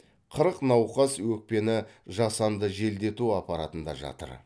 қырық науқас өкпені жасанды желдету аппаратында жатыр